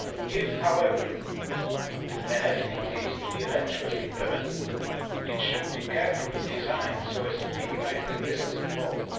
If, however, an FTT is to be eventually implemented, it should be carefully designed so as to minimise the risks involved.